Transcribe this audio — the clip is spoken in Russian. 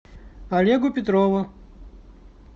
олегу петрову